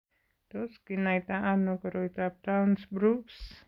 Tos kinaita ano koroitoab Townes Brocks?